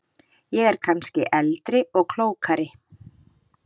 Ég er kannski eldri og klókari.